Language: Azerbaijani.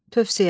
Tövsiyə.